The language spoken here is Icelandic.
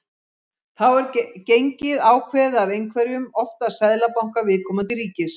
Þá er gengið ákveðið af einhverjum, oftast seðlabanka viðkomandi ríkis.